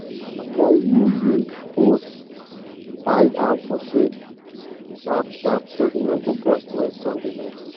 after you use hose hide am for shade sharp-sharp so e no go burst when sun dey vex.